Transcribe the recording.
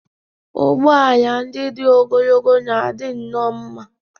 Ụgbọ ala ndị dị ogologo na-adị nnọọ mma.